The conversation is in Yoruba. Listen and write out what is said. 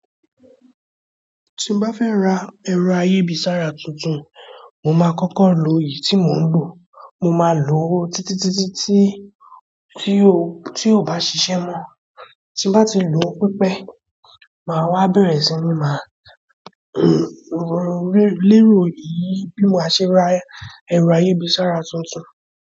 Tí n bá fẹ́ ra ẹ̀rọ ayébì sára tuntun, mo máa kọ́kọ́ lo èyí tí mò ń lò. Mo máa lò ó títítítí tí, tí ó, tí ò bá ṣiṣẹ́ mọ́. Tí n bá ti lò ó pípẹ́, màá wá bẹ̀rẹ̀ sí ní máa n rẹ́rẹ́ lérò èyí bí mo ṣe máa ṣe ra ẹ̀rọ ayébì sára tuntun.